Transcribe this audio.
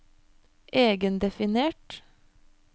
egendefinert